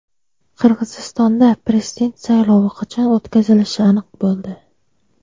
Qirg‘izistonda prezident saylovi qachon o‘tkazilishi aniq bo‘ldi.